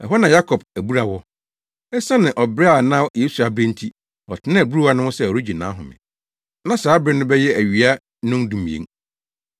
Ɛhɔ na na Yakob abura wɔ. Esiane ɔbrɛ a na Yesu abrɛ nti, ɔtenaa abura no ho sɛ ɔregye nʼahome. Na saa bere no bɛyɛ awia nnɔndumien.